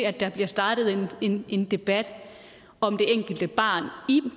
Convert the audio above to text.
at der bliver startet en en debat om det enkelte barn i